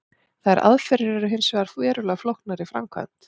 Þær aðferðir eru hins vegar verulega flóknar í framkvæmd.